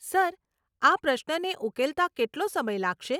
Sir, આ પ્રશ્નને ઉકેલતા કેટલો સમય લાગશે?